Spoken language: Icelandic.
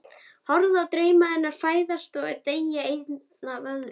Horfi á drauma hennar fæðast og deyja einn af öðrum.